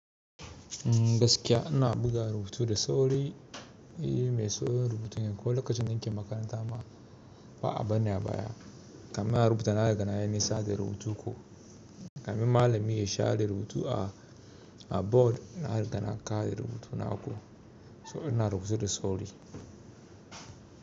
Gaskiya ina buga rubutu da sauri, me so rubutun ya koyi lokacin dinkin makaranta ma ba a bani a baya. Kamin in rubuta na riga na yi nisa da rubutu ko kamin malami ya sha da rubutu a board ina riga na ka da rubutuna ko so ina rubutu da sauri.